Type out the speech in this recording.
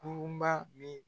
Kurun ba min